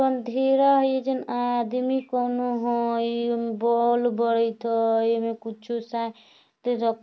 अँधेरा है एजं आदमी कोनो हाई बोल बरत हाई में कुछु स--